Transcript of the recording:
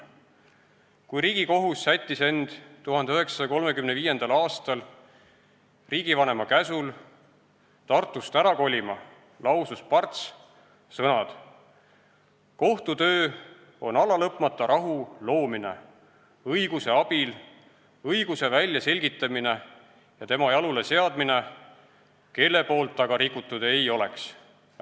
Kui Riigikohus sättis end 1935. aastal riigivanema käsul Tartust ära kolima, lausus Parts järgmised sõnad: "Kohtu töö on alalõpmata rahu loomine õiguse abil, õiguse väljaselgitamine ja tema jaluleseadmine, kelle poolt ta ka rikutud ei oleks.